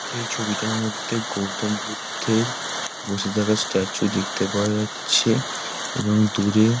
এই ছবিটার মধ্যে গৌতম বুদ্ধের বসে থাকার স্ট্যাচু দেখতে পাওয়া যাচ্ছে-এ এবং দূরে --